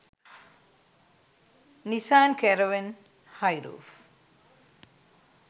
nisan caravan hi roof